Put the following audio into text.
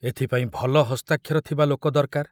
ଏଥିପାଇଁ ଭଲ ହସ୍ତାକ୍ଷର ଥିବା ଲୋକ ଦରକାର।